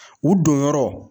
U donyɔrɔ.